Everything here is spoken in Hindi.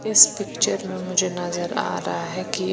इस पिक्चर में मुझे नज़र आ रहा है की--